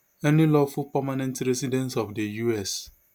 any lawful permanent resident of di us